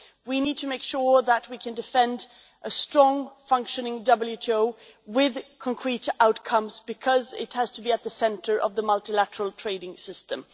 We need to make sure that we can defend a strong, functioning WTO with concrete outcomes because it has to be at the centre of the multilateral trading system.